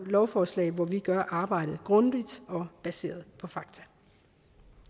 lovforslag hvor vi gør arbejdet grundigt og baseret på fakta